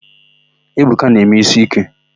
Ebuka na-eme ísí íké.